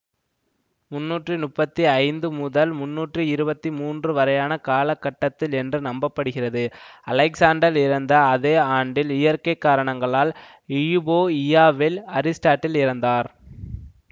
முண்ணூற்றி முப்பத்தி ஐந்து முதல் முண்ணூற்றி இருபத்தி மூன்று வரையான காலகட்டத்தில் என்று நம்பப்படுகிறதுஅலெக்ஸாண்டர் இறந்த அதே ஆண்டில் இயற்கை காரணங்களால் இயுபோஇயா வில் அரிஸ்டாடில் இறந்தார்